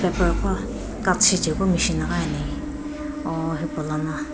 paper qo cut shichekeu machine ghi ani o hipalono.